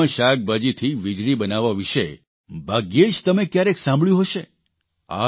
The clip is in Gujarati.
નકામા શાકભાજીથી વીજળી બનાવવા વિશે ભાગ્યે જ તમે ક્યારેય સાંભળ્યું હશે